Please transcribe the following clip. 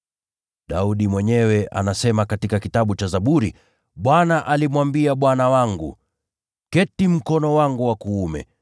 Daudi mwenyewe anasema katika Kitabu cha Zaburi: “ ‘Bwana alimwambia Bwana wangu: “Keti mkono wangu wa kuume,